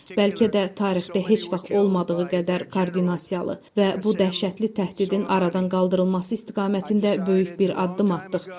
Bəlkə də tarixdə heç vaxt olmadığı qədər koordinasiyalı və bu dəhşətli təhdidin aradan qaldırılması istiqamətində böyük bir addım atdıq.